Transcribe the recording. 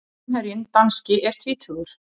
Framherjinn danski er tvítugur.